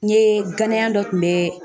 N ye ganayan dɔ tun bɛ